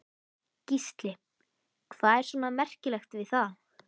Gísli: Hvað er svona merkilegt við það?